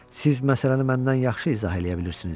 Siz məsələni məndən yaxşı izah eləyə bilirsiniz.